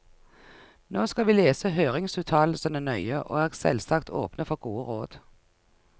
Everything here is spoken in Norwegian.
Nå skal vi lese høringsuttalelsene nøye, og er selvsagt åpne for gode råd.